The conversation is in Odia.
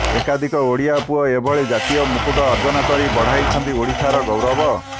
ଏକାଧିକ ଓଡ଼ିଆ ପୁଅ ଏଭଳି ଜାତୀୟ ମୁକୁଟ ଅର୍ଜନ କରି ବଢ଼ାଇଛନ୍ତି ଓଡ଼ିଶାର ଗୌରବ